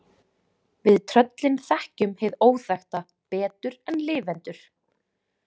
Við tröllin þekkjum hið óþekkta betur en lifendur.